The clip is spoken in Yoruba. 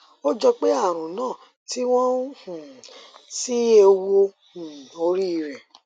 ó jọ pé àrùn náà ti wọn um sí ẹwù um orí rẹ